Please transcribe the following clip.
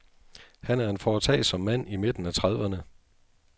Han er en foretagsom mand i midten af trediverne.